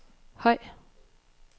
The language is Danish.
høj